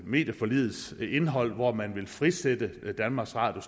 medieforligets indhold hvor man vil frisætte danmarks radio